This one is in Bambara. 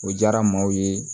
O diyara maaw ye